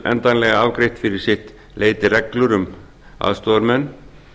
endanlega afgreitt fyrir sitt leyti reglur um aðstoðarmenn